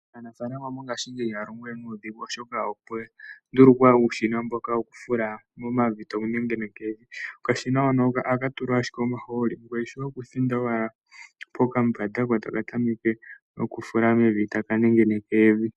Aanafalama mongashingeyi ihaya longo we nuudhigu oshoka opwandulukwa uushina mboka wokufula momavi tawu nengeneke evi, okashina hoka ohaka tulwa owala omaahooli ngoye shoye okuthinda owala pokambande ko otaka nengeneke evi.